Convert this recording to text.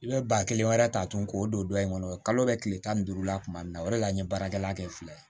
I bɛ ba kelen wɛrɛ ta tugun k'o don dɔ in kɔnɔ kalo bɛ kile tan ni duuru la tuma min na o de la n ye baarakɛla kɛ fila ye